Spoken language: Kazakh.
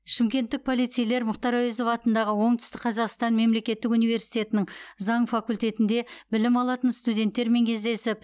шымкенттік полицейлер мұхтар әуезов атындағы оңтүстік қазақстан мемлекеттік университетінің заң факультетінде білім алатын студенттермен кездесіп